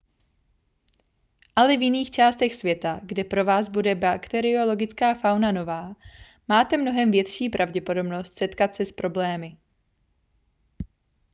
ale v jiných částech světa kde pro vás bude bakteriologická fauna nová máte mnohem větší pravděpodobnost setkat se s problémy